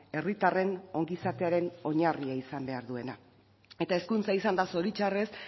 herritarren ongizatearen oinarria izan behar duena eta hezkuntza izan da zoritxarrez